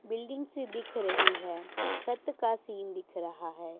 Building से दिख रही है छत का सीन दिख रहा है।